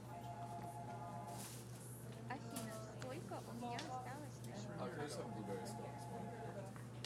афина сколько у меня осталось на счету карты втб